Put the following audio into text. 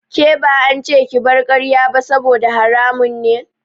Ke ba ance ki bar karya ba saboda haramun ne.